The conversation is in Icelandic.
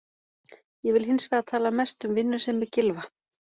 Ég vil hins vegar tala mest um vinnusemi Gylfa.